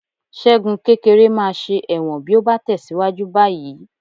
Ṣẹ́gun kékeré máa ṣe ẹ̀wọ̀n bí ó bá tẹ̀síwájú báyìí